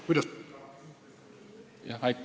Kuidas sellega on?